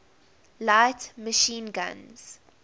light machine guns